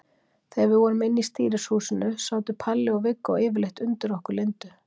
Þegar við vorum inni í stýrishúsinu sátu Palli og Viggó yfirleitt undir okkur Lindu.